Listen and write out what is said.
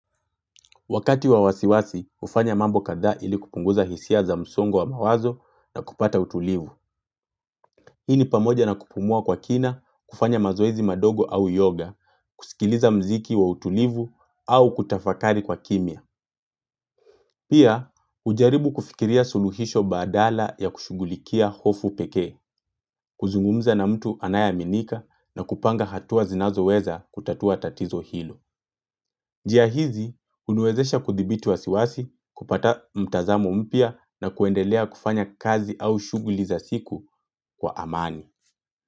Wakati wa wasiwasi, ufanya mambo kadha ili kupunguza hisia za msongo wa mawazo na kupata utulivu. Hii ni pamoja na kupumua kwa kina, kufanya mazoezi madogo au yoga, kusikiliza mziki wa utulivu au kutafakari kwa kimya. Pia, ujaribu kufikiria suluhisho badala ya kushugulikia hofu pekee, kuzungumza na mtu anayeaminika na kupanga hatua zinazo weza kutatua tatizo hilo. Jia hizi, uniwezesha kuthibiti wa siwasi, kupata mtazamo mpya na kuendelea kufanya kazi au shughuli za siku kwa amani.